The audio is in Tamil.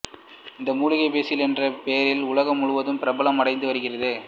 இந்த மூலிகை பேசில் என்ற பெயரில் உலகம் முழுவதும் பிரபலம் அடைந்துவருகிறது